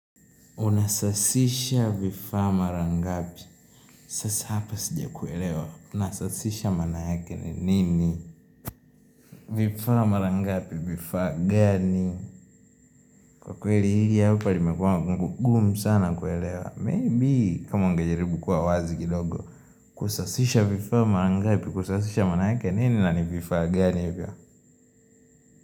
Unasasisha vifaa mara ngapi? Sasa hapa sijakuelewa. Unasasisha maana yake ni nini? Vifaa mara ngapi, vifaa gani? Kwa kweli hili hapa limekuwa gumu sana kuelewa. Maybe kama ungejaribu kuwa wazi kidogo. Kusasisha vifaa mara ngapi, kusasisha maana yake nini na ni vifaa gani hivyo?